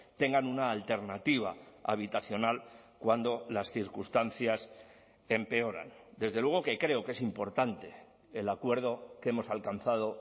tengan una alternativa habitacional cuando las circunstancias empeoran desde luego que creo que es importante el acuerdo que hemos alcanzado